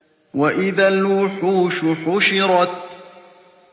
وَإِذَا الْوُحُوشُ حُشِرَتْ